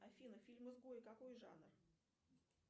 афина фильм изгой какой жанр